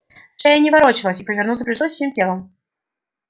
шея не ворочалась и повернуться пришлось всем телом